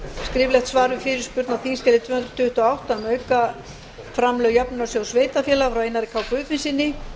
skriflegt svar við fyrirspurn á þingskjali tvö hundruð tuttugu og átta um aukaframlög jöfnunarsjóðs sveitarfélaga frá einari k guðfinnssyni